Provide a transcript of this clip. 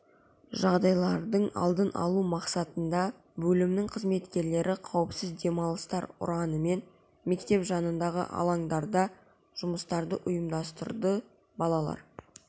жағдайлардың алдын алу мақсатында бөлімінің қызметкерлері қауіпсіз демалыстар ұранымен мектеп жанындағы алаңдарда жұмыстарды ұйымдастырды балалар